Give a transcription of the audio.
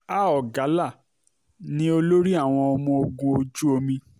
a ogalla ni olórí um àwọn ọmọ ogun ojú omi